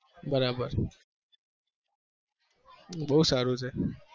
બરાબર